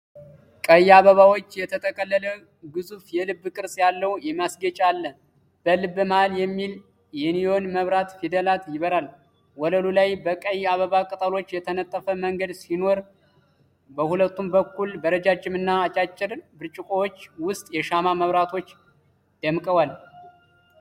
ቀይ አበባዎች የተጠቀለለ ግዙፍ የልብ ቅርጽ ያለው ማስጌጫ አለ። በልብ መሀል የሚል የኒዮን መብራት ፊደላት ይበራል። ወለሉ ላይ በቀይ አበባ ቅጠሎች የተነጠፈ መንገድ ሲኖር በሁለቱም በኩል በረጃጅም እና አጫጭር ብርጭቆዎች ውስጥ የሻማ መብራቶች ደምቀዋል።